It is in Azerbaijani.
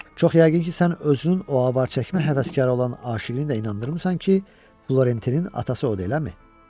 Çox yəqin ki, sən özünün o avar çəkmə həvəskarı olan aşiqini də inandırmısan ki, Florentinin atası odur, eləmi?